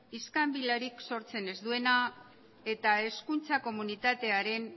iskanbilarik sortzen ez duena eta hezkuntza komunitatearen